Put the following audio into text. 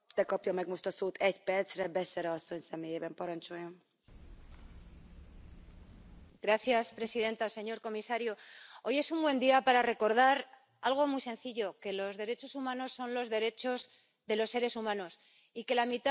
Señora presidenta, señor comisario, hoy es un buen día para recordar algo muy sencillo que los derechos humanos son los derechos de los seres humanos y que la mitad de los seres humanos en el mundo son mujeres.